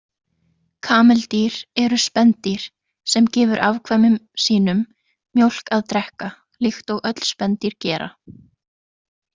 Kameldýr eru spendýr sem gefur afkvæmum sínum mjólk að drekka, líkt og öll spendýr gera.